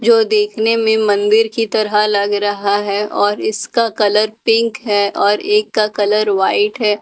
जो देखने में मंदिर की तरह लग रहा है और इसका कलर पिंक है और एक का कलर व्हाइट है और उसमें --